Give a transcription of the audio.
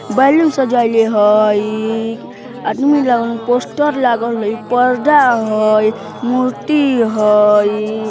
बैलून सजएले हई आदमी लागल पोस्टर लागल हई पर्दा हई मूर्ति हई।